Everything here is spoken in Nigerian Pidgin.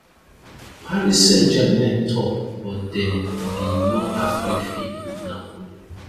paris saint germain tok but dem bin no agree fee wit napoli